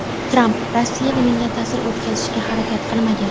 Tramp: Rossiya menga ta’sir o‘tkazishga harakat qilmagan.